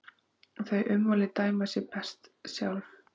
Þau ummæli dæma sig best sjálf.